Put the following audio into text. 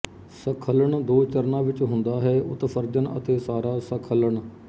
ਸੱਖਲਣ ਦੋ ਚਰਣਾਂ ਵਿੱਚ ਹੁੰਦਾ ਹੈ ਉਤਸਰਜਨ ਅਤੇ ਸਾਰਾ ਸੱਖਲਣ